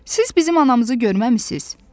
Siz bizim anamızı görməmisiz?